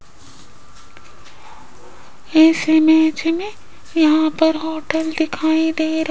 इस इमेज में यहां पर होटल दिखाई दे र--